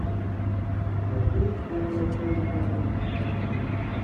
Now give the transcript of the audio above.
у тебя будет первая часть благие знамения